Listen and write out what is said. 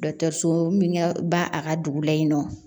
Dɔkitɛriso min ga ba a ka dugu la yen nɔ